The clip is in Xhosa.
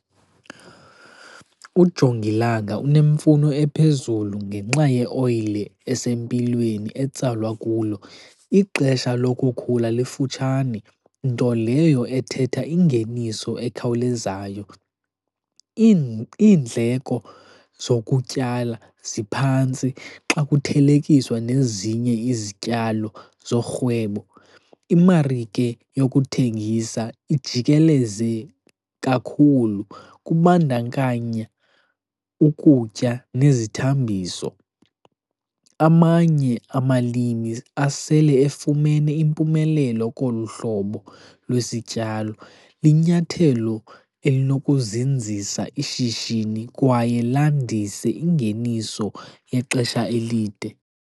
Ujongilanga unemfuno ephezulu ngenxa ye oyile esempilweni etsalwa kulo. Ixesha lokukhula lifutshane, nto leyo ethetha ingeniso ekhawulezayo. Iindleko zokutyala ziphantsi xa kuthelekiswa nezinye izityalo zorhwebo. Imarike yokuthengisa ijikeleze kakhulu, kubandakanya ukutya nezithambiso. Amanye amalimi asele efumene impumelelo kolu hlobo lwesityalo. Linyathelo elinokuzinzisa ishishini kwaye landise ingeniso yexesha elide.